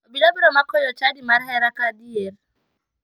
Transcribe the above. Obila biro mako jochadi mar hera ka adier?